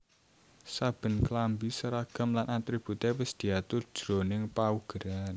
Saben klambi seragam lan atributé wis diatur jroning paugeran